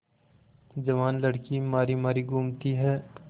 जवान लड़की मारी मारी घूमती है